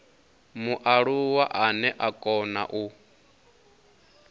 mualuwa ane a kona u